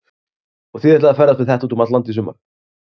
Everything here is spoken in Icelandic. Og þið ætlið að ferðast með þetta út um allt land í sumar?